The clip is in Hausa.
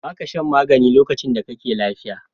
Ba ka shan magani lokacin da kake lafiya.